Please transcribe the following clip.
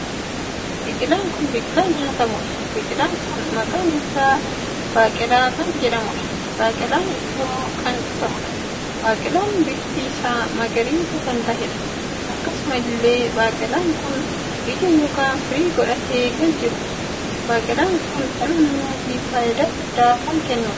Biqilaan kun biqilaa nyaatamuudha. biqilaan kun maqaan isaa baaqelaa kan jedhamuudha. baaqelaan ittoo kan ta'uudha. baaqelaan bifti isaa magariisa kan taheedha. akkkasumallee baaqelaan kun ija ykn firii godhatee kan jiruudha. baaqelaan Kun dhala namaatiif faayidaa guddaa kan kennuudha.